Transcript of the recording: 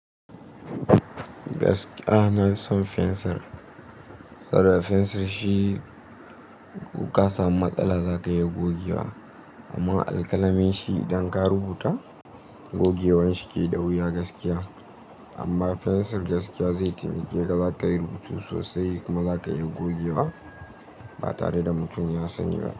Gaskiya, inason fensir. Saboda fensir shi ko ka samu matsala za ka iya gogewa amma alƙalami shi idan ka rubuta gogewar shi ke da wuya gaskiya. Amma fensir gaskiya zai taimake ka, za ka yi rubutu sosai kuma za ka iya gogewa ba tare da mutum ya sani ba.